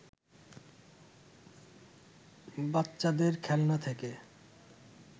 বাচ্চাদের খেলনা থেকে